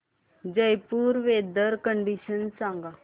Jaipur weather condition सांगा